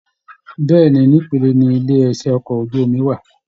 Bẹ̀ẹ́ni, n'ipele ní ilé iṣẹ okọ̀ ojú omi wà.